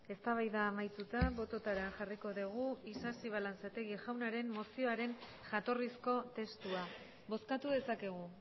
eztabaida amaituta bototara jarriko dugu isasi balanzategi jaunaren mozioaren jatorrizko testua bozkatu dezakegu